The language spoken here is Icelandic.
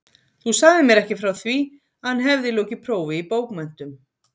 Þú sagðir mér ekki frá því, að hann hefði lokið prófi í bókmenntum